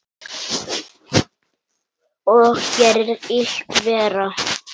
Og gerir illt verra.